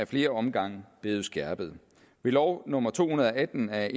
flere omgange blevet skærpet ved lov nummer to hundrede og atten af